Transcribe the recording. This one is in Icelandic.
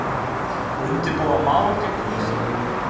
Undirbúa mál gegn Lýsingu